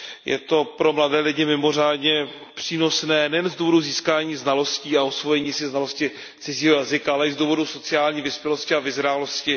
Je to pro mladé lidi mimořádně přínosné, nejen z důvodu získání znalostí a osvojení si znalosti cizího jazyka, ale i z důvodu sociální vyspělosti a vyzrálosti.